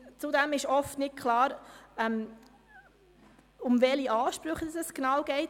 Zudem ist oft nicht klar, um welche Ansprüche es sich genau handelt.